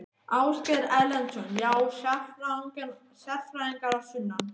Ásgeir Erlendsson: Já, sérfræðingar að sunnan?